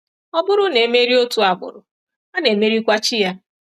Ọ bụrụ na e merie otu agbụrụ, a na-emerikwa chi ya.